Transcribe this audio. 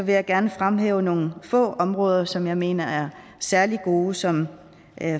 jeg gerne fremhæve nogle få områder som jeg mener er særlig gode og som